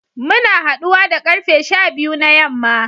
Muna haduwa da karfe sha biyu na yamma